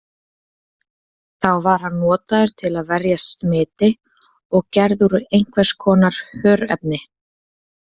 Þá var hann notaður til að verjast smiti og gerður úr einhvers konar hörefni.